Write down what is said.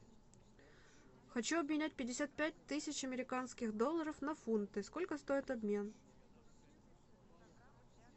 хочу обменять пятьдесят пять тысяч американских долларов на фунты сколько стоит обмен